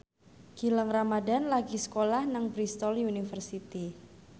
Gilang Ramadan lagi sekolah nang Bristol university